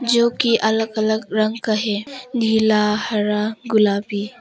जो की अलग अलग रंग क है नीला हरा गुलाबी--